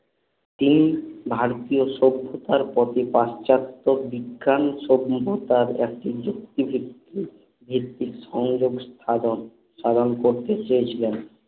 তিনি ভারতীয় সভ্যতার প্রতি প্রাচ্যতত্ত বিজ্ঞান সভ্যতার এক নিজক্তি ভিত্তিক সংযোক সাধন সাধন করতে চেয়েছিলেন